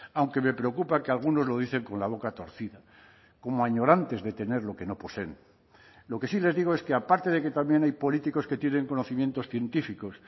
aunque me preocupa que algunos lo dicen con la boca torcida como añorantes de tener lo que no poseen lo que sí les digo es que aparte de que también hay políticos que tienen conocimientos científicos